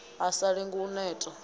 a sa lenge u neta